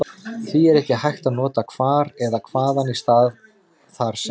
Því er ekki hægt að nota hvar eða hvaðan í stað þar sem.